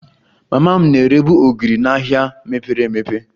Mama m na-erebu ogiri n'ahịa mepere emepe